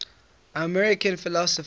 american philosophers